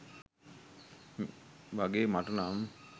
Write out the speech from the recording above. වගේ මටනම්.